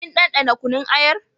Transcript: Kin ɗanɗana kunun ayar?